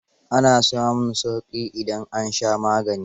Ana samun sauƙi idan an sha magani.